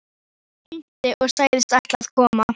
Hún hringdi og sagðist ætla að koma.